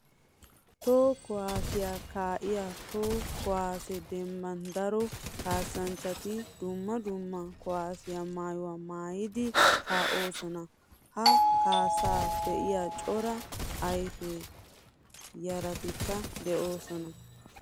Toho kuwasiya kaa'iyo toho kuwase dembban daro kaassanchchati dumma dumma kuwasiya maayuwa maayiddi kaa'osona. Ha kaassa be'iya cora kaafiya yarattikka de'osona.